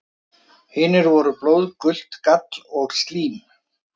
Hinir voru blóð, gult gall og slím.